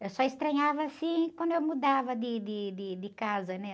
Eu só estranhava, assim, quando eu mudava de, de, de, de casa, né?